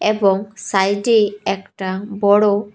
এবং সাইড -এই একটা বড়--